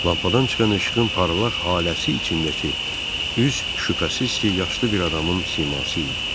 Lampadan çıxan işığın parlaq haləsi içindəki üz şübhəsiz ki, yaşlı bir adamın siması idi.